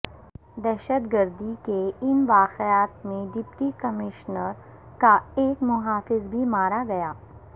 دہشتگردی کے ان واقعات میں ڈپٹی کمشنر کا ایک محافظ بھی مارا گیا